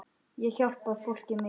Ég hjálpa fólki mikið núna.